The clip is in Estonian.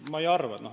Ma ei arva.